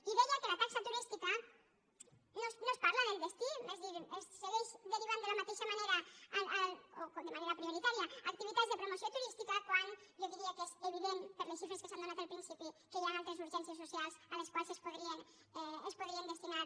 i deia que a la taxa turística no es parla del destí és a dir es segueix derivant de la mateixa manera o de manera prioritària a activitats de promoció turística quan jo diria que és evident per les xifres que s’han donat al principi que hi han altres urgències socials a les quals es podrien destinar